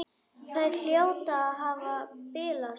Þær hljóta að hafa bilast!